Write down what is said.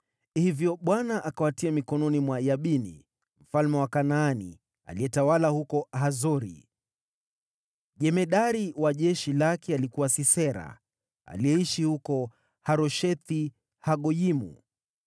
Hivyo Bwana akawatia mikononi mwa Yabini, mfalme wa Kanaani, aliyetawala huko Hazori. Jemadari wa jeshi lake alikuwa Sisera, aliyeishi huko Haroshethi-Hagoyimu